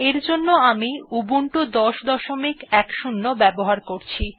এর জন্য আমি উবুন্টু ১০১০ ব্যবহার করছি